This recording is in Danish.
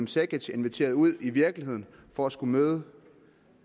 cekic inviteret ud i virkeligheden for at skulle møde